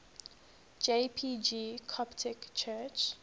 jpg coptic church